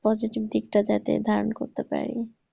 positive দিকটা যাতে ধারণ করতে পারি।